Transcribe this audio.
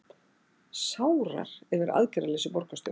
Sárar yfir aðgerðarleysi borgarstjóra